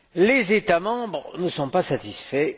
Les États membres ne sont pas satisfaits.